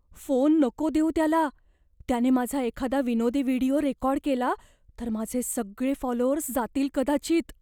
Phone नको देऊ त्याला. त्याने माझा एखादा विनोदी व्हिडिओ रेकॉर्ड केला, तर माझे सगळे फॉलोअर्स जातील कदाचित.